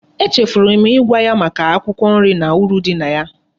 E chefuru m igwa ya Maka akwukwo nri na uru di na ya